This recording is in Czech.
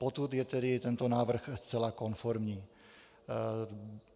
Potud je tedy tento návrh zcela konformní.